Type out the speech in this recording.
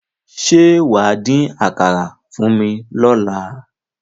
Ṣé wà á dín àkàrà fún mi lọ́la?